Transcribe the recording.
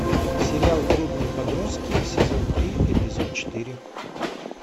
сериал трудные подростки сезон три эпизод четыре